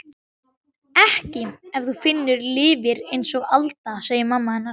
Ekki ef þú lifir einsog við Alda, segir mamma hennar.